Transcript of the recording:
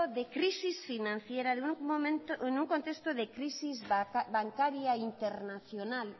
de crisis financiera en un contexto de crisis bancaria internacional